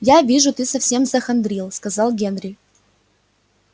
я вижу ты совсем захандрил сказал генри